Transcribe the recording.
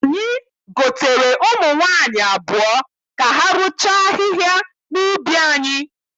Anyị gotere ụmụ nwaanyị abụọ ka ha rụchaa ahịhịa n'ubi anyị.